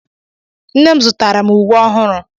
Nne m zụtara m uwe ọhụrụ.